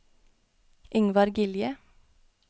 Ingvar Gilje